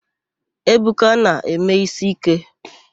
Ebuka na-eme ísí íké.